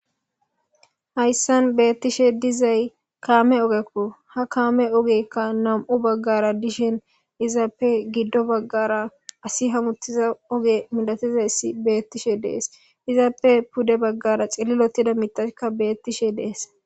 Hayssan beettishe dizay kaame ogekku ha kaame ogekka nam'u baggara dishen izaappe giddo baggara asi hamuttiza oge midatizayssi beettishe dees izaappe pude baggara xillilotida mitaka beettishe dees.